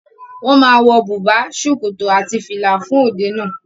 Wọ́n ma wọ bùbá, sọrọ àti fìlà fún òde náà.